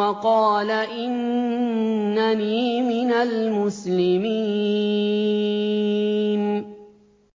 وَقَالَ إِنَّنِي مِنَ الْمُسْلِمِينَ